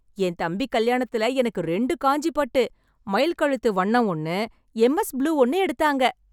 என் தம்பி கல்யாணத்துல எனக்கு ரெண்டு காஞ்சி பட்டு, மயில் கழுத்து வண்ணம் ஒண்ணு, எம் எஸ் ப்ளூ ஒண்ணு எடுத்தாங்க.